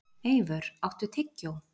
Eivör, áttu tyggjó?